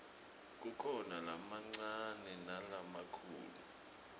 kukhona lamancane nalamakhulu